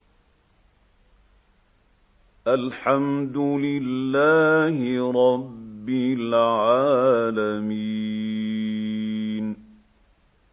الْحَمْدُ لِلَّهِ رَبِّ الْعَالَمِينَ